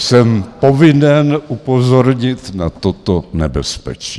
Jsem povinen upozornit na toto nebezpečí.